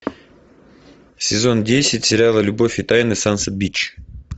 сезон десять сериала любовь и тайны сансет бич